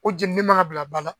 O jeni ni man ka bila ba la.